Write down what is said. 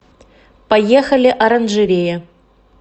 поехали оранжерея